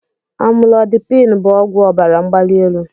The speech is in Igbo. Amụlodipin bụ ọgwụ ọbara mgbali elu.